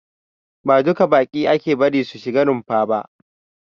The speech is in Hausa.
Ba duka baƙi ake bari su shiga runfa ba.